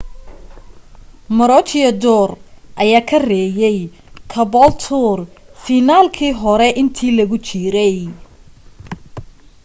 maroochydore ayaa ka reeyay caboolture fiinaalkii hore inta lagu jiray